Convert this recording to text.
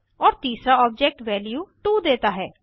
औए तीसरा object value 2 देता है